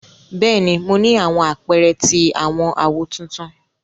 Bẹ́ẹ̀ni, mo ni àwọn àpẹrẹ ti awọn áwó tuntun.